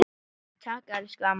Takk, elsku amma mín.